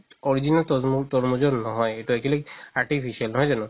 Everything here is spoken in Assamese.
original তৰ~ তৰমুজৰ নহয় এইটো actually artificial নহয় জানো